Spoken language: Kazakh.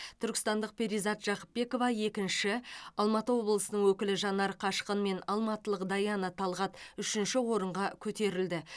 түркістандық перизат жақыпбекова екінші алматы облысының өкілі жанар қашқын мен алматылық даяна талғат үшінші орынға көтерілді